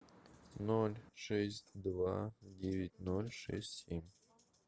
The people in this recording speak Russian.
ноль шесть два девять ноль шесть семь